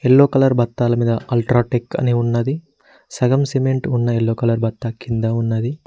Yellow colour బత్తాల మీద UltraTech అని ఉన్నది సగం సిమెంట్ ఉన్న ఎల్లో కలర్ బత్త కింద ఉన్నది.